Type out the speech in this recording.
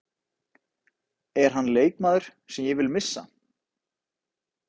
Er hann leikmaður sem ég vil missa?